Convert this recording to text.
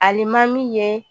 Alimami ye